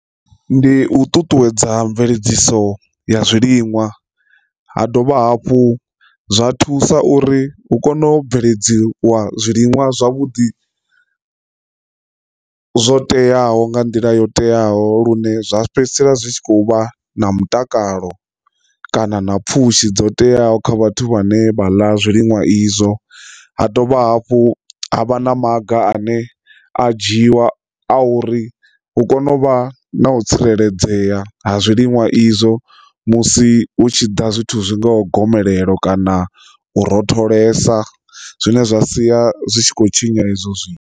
Ndi u ṱuṱuwedza mveledziso ya zwiliṅwa ha dovha hafhu zwa thusa uri hu kone u bveledziwa zwiliṅwa zwavhuḓi zwo teaho nga nḓila yo teaho lune zwa fhedzisela zwi tshi kho vha na mutakalo kana na pfhushi dzo teaho kha vhathu vha ne vha ḽa zwiḽiwa izwo. Ha dovha hafhu havha na maga ane a dzhiiwa a uri hu kone u vha na u tsireledzea ha zwiliwa izwo musi hu tshi ḓa zwithu zwi ngaho gomelelo kana u rotholesa zwine zwa sia zwi tshi khou tshinya izwo zwithu.